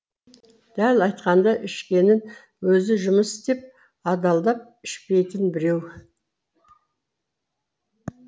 дәл айтқанда ішкенін өзі жұмыс істеп адалдап ішпейтін біреу